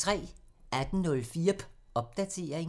18:04: Popdatering